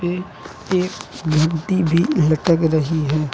ये एक घंटी भी लटक रही है।